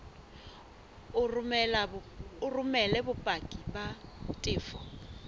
o romele bopaki ba tefo